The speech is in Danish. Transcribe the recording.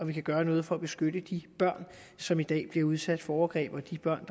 vi kan gøre noget for at beskytte de børn som i dag bliver udsat for overgreb